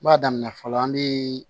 N b'a daminɛ fɔlɔ an be